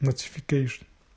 нотификейшен